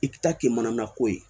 I ta kɛ mana ko ye